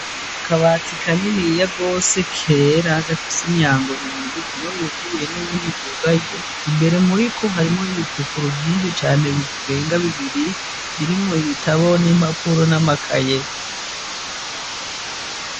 Akabati kaniniya gose kera gafise imyango ibiri umwe wuguruye nuwundi wugaye ,imbere muriko harimwo ibipapuro vyinshi cane birenga bibiri birimwo ibitabo ,nimpapuro ,namakaye.